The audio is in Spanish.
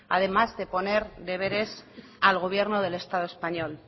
además de poner deberes al gobierno del estado español